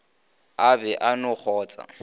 o be a no kgotsa